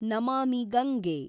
Namami Gange